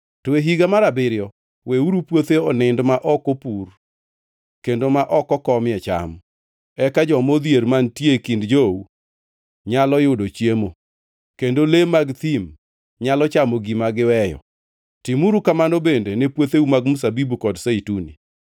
to e higa mar abiriyo weuru puothe onind ma ok opur kendo ma ok okomie cham. Eka joma odhier mantie e kind jou nyalo yudo chiemo, kendo le mag thim nyalo chamo gima giweyo. Timuru kamano bende ne puotheu mag mzabibu kod zeituni.